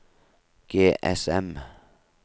GSM